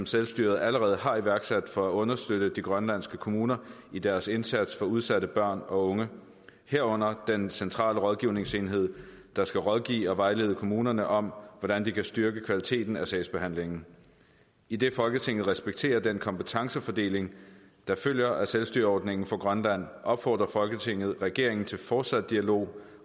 selvstyret allerede har iværksat for at understøtte de grønlandske kommuner i deres indsats for udsatte børn og unge herunder den centrale rådgivningsenhed der skal rådgive og vejlede kommunerne om hvordan de kan styrke kvaliteten af sagsbehandlingen idet folketinget respekterer den kompetencefordeling der følger af selvstyreordningen for grønland opfordrer folketinget regeringen til fortsat dialog